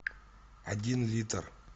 один литр